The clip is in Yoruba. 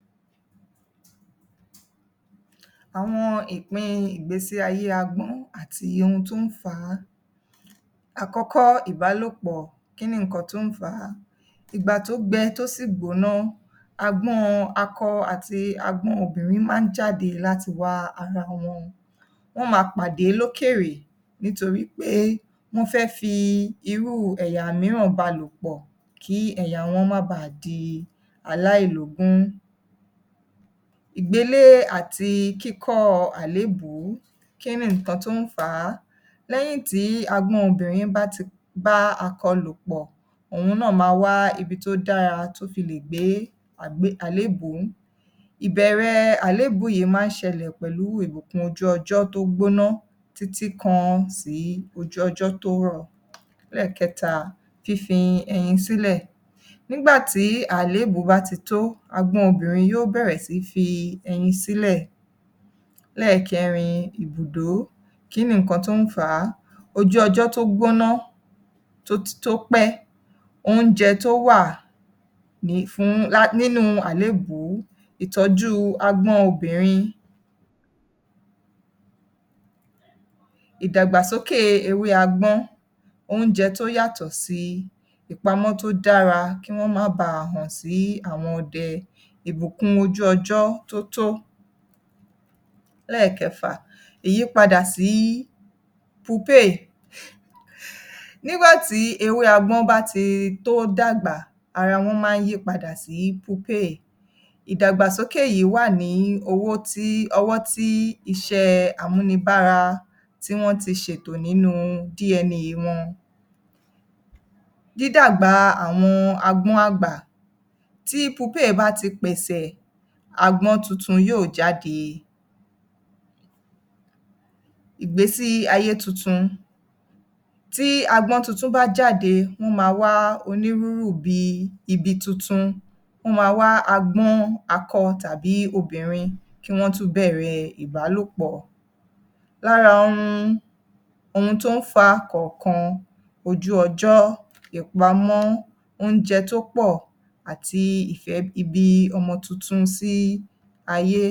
Àwọn ìpín ìgbésí-ayé agbọ̀n àti ohun tó ń fa á. Àkọ́kọ́, ìbálòpọ̀. Kí ni ǹkan tó ń fà á? Ìgbà tó gbẹ tó sì gbóná, agbọ́n akọ àti agbọ́n obìnrin máa ń jáde láti wá ara wọn. Wọ́n máa pàdé lókèèrè nítorí pé wọ́n fẹ́ fi irú ẹ̀yà mìíràn bá a lòpọ̀ kí ẹ̀yà wọn má baà di aláìlógún. Ìgbélé àti kíkọ́ọ àlébùú. Kí ni nǹkan tó ń fà á? Lẹ́yìn tí agbọ́n obìnrin bá ti bá akọ lòpọ̀, òun náà máa wá ibi tó dára, tó fi lè gbé àlébùú. Ìbẹ̀rẹ̀ àlébùú yìí máa ń ṣẹlẹ̀ pẹ̀lú ìbùkún ojú ọjọ́ tó gbóná títí kàn sí ojú ọjọ́ tó rọ̀. Lẹ́ẹ̀kẹta, fífi ẹyin sílẹ̀. Nígbà tí àlébùú bá ti tó, agbọ́n obìnrin yóò bẹ̀rẹ̀ sí fi ẹyin sílẹ̀. Lẹ́ẹ̀kẹrin, ìbùdó. Kí ni nǹkan tó ń fà á? Ojú ọjọ́ tó gbóná, tó pẹ́, oúnjẹ tó wà fún, nínú àlébùú, ìtọ́jú agbọ́n obìnrin, ìdàgbàsókè ewé agbọ́n, oúnjẹ tó yàtọ̀ sí, ìpamọ́ tó dára kí wọ́n má baà hàn sí àwọn ọdẹ, ìbùkún ojú ọjọ́ tó tó. Lẹ́ẹ̀kẹfà, ìyípadà sí pupéè um. Nígbà tí ewé agbọ́n bá ti, tó dàgbà, ara wọn máa ń yí padà sí pupéè. Ìdàgbàsókè yìí wà ní owó tí, ọwọ́ tí iṣẹ́ àmúnibára, tí wọ́n ti ṣètò nínú DNA wọn. Dídàgbà àwọn agbọ́n àgbà. Tí Pupéè bá ti pẹ̀sẹ̀, agbọ́n tuntun yóò jáde. Ìgbésí-ayé tuntun. Tí agbọ́n tuntun bá jáde, wọ́n máa wá onírúrù bíi ibi tuntun. Wọ́n máa wá agbọ́n akọ tàbí obìnrin kí wọ́n tún bẹ̀rẹ̀ ìbálòpọ̀. Lára ohun, ohun tó ń fàkọ̀ọ̀kan, ojú ọjọ́, ìpamọ́, oúnjẹ tó pọ̀ àti ìfẹ́ ìbí ọmọ tuntun sí aye.